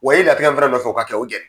Wa latigɛ min fana nɔfɛ o ka kɛ